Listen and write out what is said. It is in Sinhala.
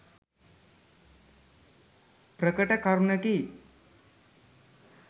ප්‍රකට කරුණකි.